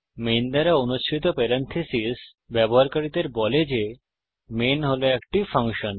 main দ্বারা অনুসৃত parentheses ব্যবহারকারীদের বলে যে মেইন হল একটি ফাংশন